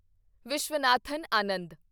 Viswanathan Anand